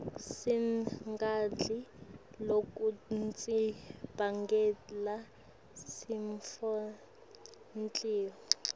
singadli lokutnsi bangela sifosenhltiyo